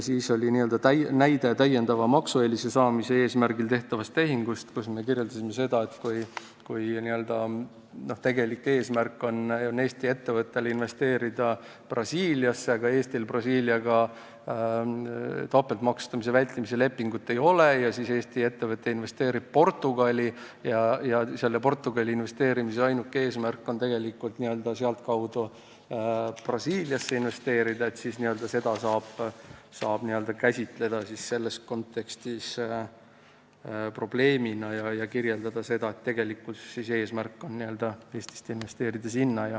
Siis oli näide täiendava maksueelise saamise eesmärgil tehtava tehingu kohta, kus me kirjeldasime seda, et kui Eesti ettevõtte tegelik eesmärk on investeerida Brasiiliasse, Eestil Brasiiliaga topeltmaksustamise vältimise lepingut ei ole, ja Eesti ettevõte investeerib Portugali, mille ainuke eesmärk on tegelikult sealtkaudu Brasiiliasse investeerida, et siis saab seda selles kontekstis käsitleda probleemina ja kirjeldada nii, et tegelik eesmärk on Eestist sinna investeerida.